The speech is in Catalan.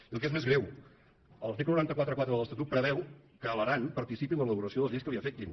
i el que és més greu l’article nou cents i quaranta quatre de l’estatut preveu que l’aran participi en l’elaboració de les lleis que li afectin